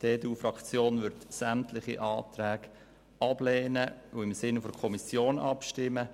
Die EDU-Fraktion wird sämtliche Anträge ablehnen und im Sinne der Kommission abstimmen.